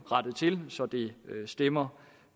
rettet til så det stemmer